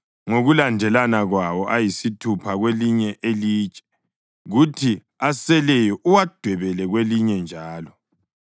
ngokulandelana kwawo, ayisithupha kwelinye ilitshe kuthi aseleyo uwadwebele kwelinye njalo.